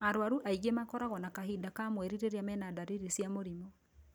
Arwaru aingĩ makoragwo na kahinda ka mweri rĩrĩa mena ndariri cia mũrimũ